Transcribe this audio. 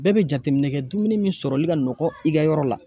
Bɛɛ be jateminɛ kɛ dumuni min sɔrɔli ka nɔgɔ i ka yɔrɔ la.